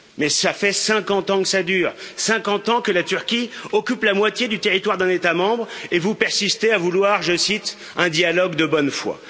Mais cela fait 50 ans que ça dure, 50 ans que la Turquie occupe la moitié du territoire d'un État membre, et vous persistez à vouloir, je cite, un dialogue de bonne foi.